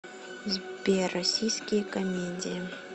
сбер российские камедии